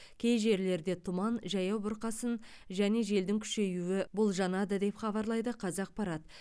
кей жерлерде тұман жаяу бұрқасын және желдің күшеюі болжанады деп хабарлайды қазақпарат